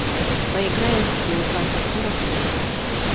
поиграем в скилл двадцать сорок восемь